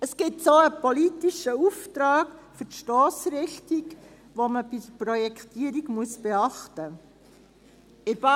Es gibt so einen politischen Auftrag für die Stossrichtung, die man bei der Projektierung beachten muss.